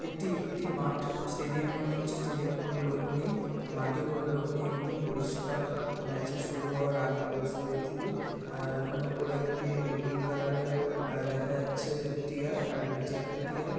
এটি একটি মাঠ স্টেডিয়াম মনে হচ্ছে স্টেডিয়াম -এ কোনো লোক নেই মাঠেও কোন লোক নেই একদম পরিষ্কার -ম্যাচ -এর শুরু হওয়ার আগে পরিস্থিতি আ ওখানে উপরে একটি নীল কালার -এর আ দেখা যাচ্ছে টিআর আর নিচে একটি টিআর ।